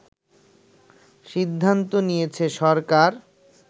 সিদ্ধান্ত নিয়েছে সরকার